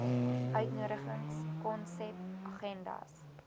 uitnodigings konsep agendas